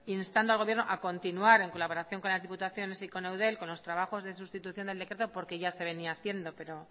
instando al gobierno a continuar en colaboración con las diputaciones y eudel con los trabajos de sustitución del decreto porque ya se venía haciendo